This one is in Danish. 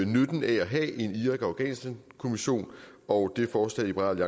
nytten af at have en irak og afghanistankommission og det forslag liberal